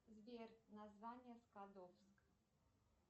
сбер название скадовск